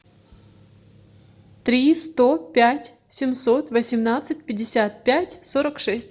три сто пять семьсот восемнадцать пятьдесят пять сорок шесть